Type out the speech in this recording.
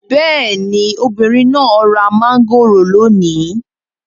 Bẹ́ẹ̀ni, obìnrin náà ra mangoro lónìí